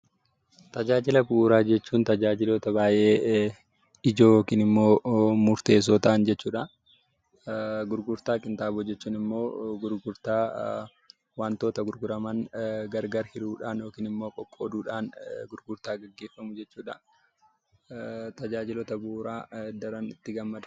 Tajaajila bu'uuraa jechuun tajaajiloota baayyee ijoo yookaan murteessoo ta'an jechuudha. Gurgurtaa qinxaaboo jechuunimmoo gurgurtaa wantoota gurguraman gargar hiruudhaan yookinimmoo qoqooduudhaan gurgurtaa gaggeeffamu jechuudha. Tajaajiloota bu'uuraa daran itti gammada.